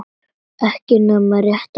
Ekki nema rétt í svip.